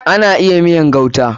Ana iya miyan gauta.